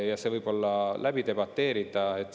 Ja see võib olla läbi debateerida.